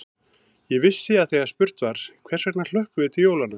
Ég vissi að þegar spurt var: hvers vegna hlökkum við til jólanna?